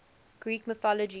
greek mythology